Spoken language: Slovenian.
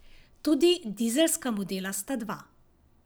Tudi dizelska modela sta dva.